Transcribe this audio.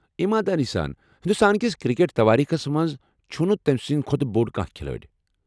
ایٖماندٲری سان ، ہندوستان کس کرکٹ کس تواریٖخس منٛز چُھنہٕ تمہِ سنٛدِ کھۄتہٕ بوٚڑ کانٛہہ کھلٲڑۍ۔